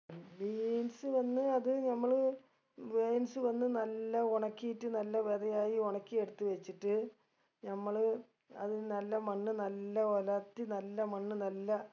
beans വന്ന് അത് നമ്മള് beans വന്ന് നല്ല ഒണക്കീട്ട് നല്ല വെതയായി ഒണക്കി എടുത്ത് വെച്ചിട്ട് നമ്മള് അതിന് നല്ല മണ്ണ് നല്ല ഒലത്തി നല്ല മണ്ണ് നല്ല